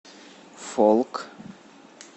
фолк